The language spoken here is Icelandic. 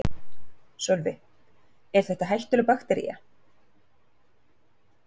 Sölvi: Er þetta hættuleg baktería?